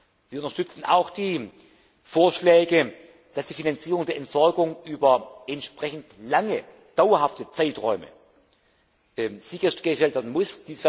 Wir unterstützen auch die Vorschläge, dass die Finanzierung der Entsorgung über entsprechend lange, dauerhafte Zeiträume sichergestellt werden muss.